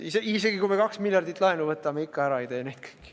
Isegi kui me 2 miljardit laenu võtame, siis ikka ära ei tee neid kõiki.